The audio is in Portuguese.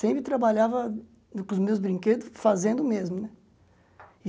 Sempre trabalhava com os meus brinquedos, fazendo mesmo, né?